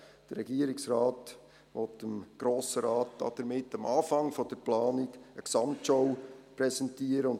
Der Regierungsrat will dem Grossen Rat damit am Anfang der Planung eine Gesamtschau präsentieren.